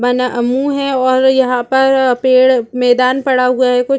बना मुँह है और यहाँ पर पेड़ मैदान पड़ा हुआ है कु--